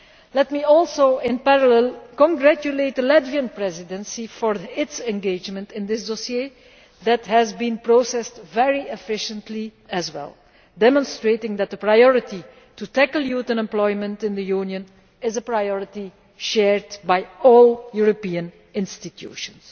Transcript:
Let me also, in parallel, congratulate the Latvian Presidency for its engagement in this dossier that has been processed very efficiently as well, demonstrating that the priority to tackle youth unemployment in the Union is one that is shared by all European institutions.